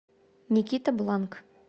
никита бланк